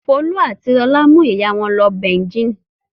Folú àti Lọlá mú ìyá wọn lọ Beijing.